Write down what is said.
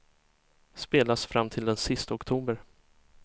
Spelas fram till den sista oktober.